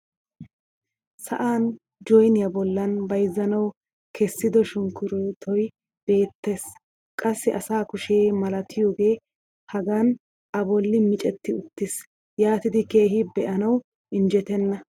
sa'an joyniya bollaan bayzzanawu kessido sunkkuruuttoy beetees. qassi asa kushe malattiyage hagan a boli miceti uttis. yaatidi keehi beanawu injjetenna.